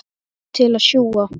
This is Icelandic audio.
Mamma til að sjúga.